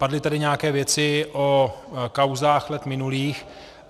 Padly tady nějaké věci o kauzách let minulých.